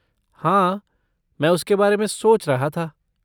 हाँ, मैं उसके बारे में सोच रहा था।